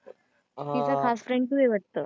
हा तिचा खास friend तू आहे वाटतं.